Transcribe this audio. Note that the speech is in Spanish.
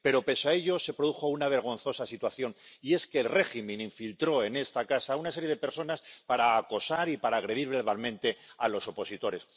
Pero, pese a ello, se produjo una vergonzosa situación y es que el régimen infiltró en esta casa a una serie de personas para acosar y para agredir verbalmente a los opositores.